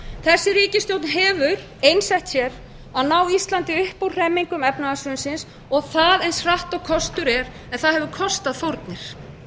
þessi ríkisstjórn hefur einsett sér að ná íslandi upp úr hremmingum efnahagshrunsins og það eins hratt og kostur er en það hefur kostað fórnir